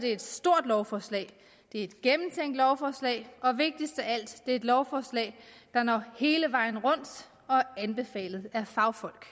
et stort lovforslag det er et gennemtænkt lovforslag og vigtigst af alt er det et lovforslag der når hele vejen rundt og er anbefalet af fagfolk